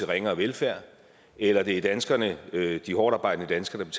ringere velfærd eller det er danskerne de hårdtarbejdende danskere der